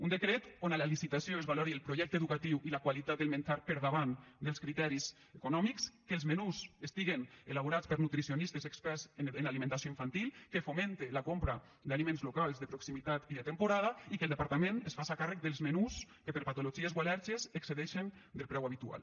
un decret on a la licitació es valori el projecte educatiu i la qualitat del menjar per davant dels criteris econòmics que els menús estiguen elaborats per nutricionistes experts en alimentació infantil que fomente la compra d’aliments locals de proximitat i de temporada i que el departament es faça càrrec dels menús que per patologies o al·lèrgies excedeixen del preu habitual